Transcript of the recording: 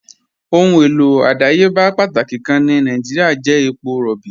Ọ̀hun èlò ọdàyébà pátákì kàn ni Nàìjíríà jẹ̀ èpọ̀ róbí.